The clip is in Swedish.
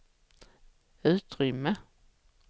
utrymme